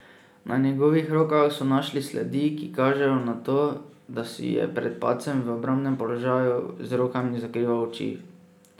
Na njegovih rokah so našli sledi, ki kažejo na to, da si je pred padcem v obrambnem položaju z rokami zakrival oči.